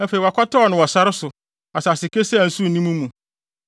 Afei wɔakɔtɛw no wɔ sare so asase kesee a nsu nni mu mu.